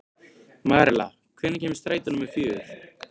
Marela, hvenær kemur strætó númer fjögur?